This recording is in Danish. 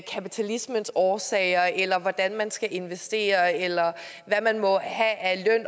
kapitalismens årsager eller hvordan man skal investere eller hvad man må have af